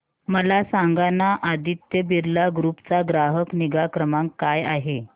मला सांगाना आदित्य बिर्ला ग्रुप चा ग्राहक निगा क्रमांक काय आहे